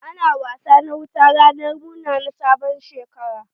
Ana wasa na wuta ranar murna na sabon shekara.